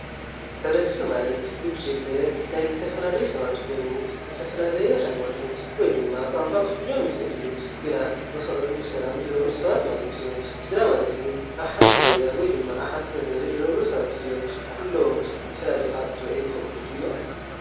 ሕብረተሰብ ማለት ጉጅለ ናይ ዝተፈላለዩ ሰባት ኮይኑ ዝተፈላለዩ ሃይማኖት ወይ ድማ ቋንቋ ክህልዮም ይክእል እዩ። ግና ብፍቅርን ብሰላምን ዝነብሩ ሰባት ማለት እዮም። ስድራ ማለት ግን አብ ሓንቲ ገዛ ወይ አብ ሓንቲ መንበሪ ዝነብሩ ሰባት እዮም። ኩሎም ፈላሊካ ክረአዩ ይክእሉ ድዮም?